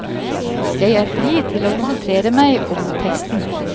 Jeg er fri til å konsentrere meg om teksten.